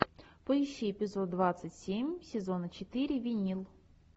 поищи эпизод двадцать семь сезона четыре винил